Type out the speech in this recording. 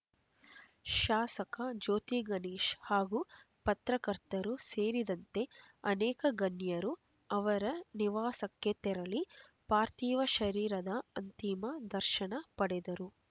ಶಾಸಕ ಜ್ಯೋತಿಗಣೇಶ್ ಹಾಗೂ ಪತ್ರಕರ್ತರು ಸೇರಿದಂತೆ ಅನೇಕ ಗಣ್ಯರು ಅವರ ನಿವಾಸಕ್ಕೆ ತೆರಳಿ ಪಾರ್ಥೀವ ಶರೀರದ ಅಂತಿಮ ದರ್ಶನ ಪಡೆದರು